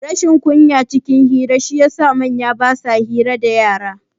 Rashin kunya cikin hira shi ya sa manya basa son hira dayara